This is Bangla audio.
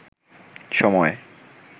সময়